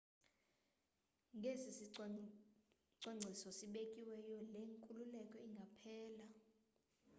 ngesisicwangciso sibekiweyo le nkululeko ingaphela